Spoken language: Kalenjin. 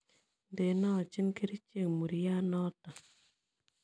Ndenoochi kerichek muryaat noto